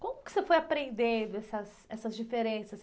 Como que você foi aprendendo essas, essas diferenças?